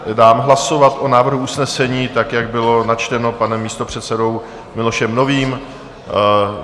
Dám hlasovat o návrhu usnesení tak, jak bylo načteno panem místopředsedou Milošem Novým.